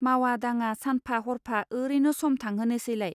मावा दाङा सानफा हरफा ओरैनो सम थांहोनोसैलाय.